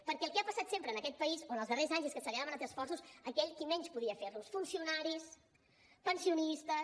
perquè el que ha passat sempre en aquest país o en els darrers anys és que se li han demanat esforços a aquell qui menys podia fer los funcionaris pensionistes